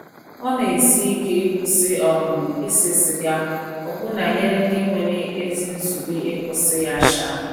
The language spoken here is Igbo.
Ọ na - esi ike ịkwụsị um ise siga ọbụna nyere ndị nwere ezi nzube ịkwụsị ya. um